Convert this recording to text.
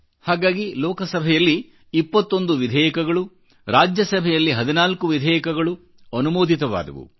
ಹಾಗಾಗಿ ಲೋಕಸಭೆಯಲ್ಲಿ ಇಪ್ಪತ್ತೊಂದು ವಿಧೇಯಕಗಳು ರಾಜ್ಯಸಭೆಯಲ್ಲಿ ಹದಿನಾಲ್ಕುವಿಧೇಯಕಗಳು ಅನುಮೋದಿತವಾದವು